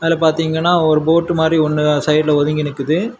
இங்க பாத்தீங்கன்னா ஒரு போட் மாரி ஒன்னு சைடுல ஒதுங்கி நிக்குது.